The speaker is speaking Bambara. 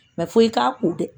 fo i k'a kun dɛ